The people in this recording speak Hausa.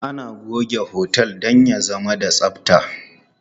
Ana goge otel don ya zama da tsabta.